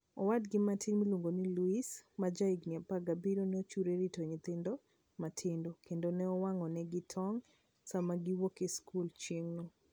Owadgi matin miluongo ni Luis, ma jahigini 17, ne ochiwore rito nyithindgi matindo, kendo ne owang'onegi tong' sama giwuok e skul chieng'no.